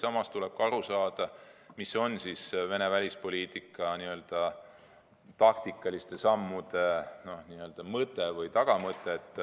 Samas tuleb aru saada, mis on Venemaa välispoliitika n-ö taktikaliste sammude mõte või tagamõte.